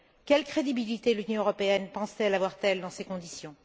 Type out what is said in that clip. Quelle crédibilité l'Union européenne pense t elle avoir dans ces conditions?